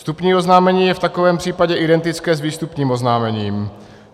Vstupní oznámení je v takovém případě identické s výstupním oznámením.